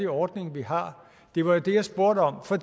ordning vi har det var jo det jeg spurgte om for